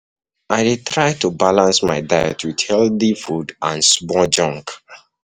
I dey try to balance my um diet with healthy food and small junk.